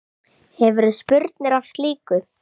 Hefurðu spurnir af slíku?